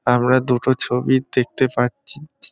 আমরা দুটো ছবি দেখতে পা-আ-চ্ছি- ছি।